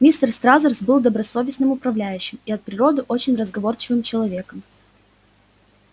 мистер стразерс был добросовестным управляющим и от природы очень разговорчивым человеком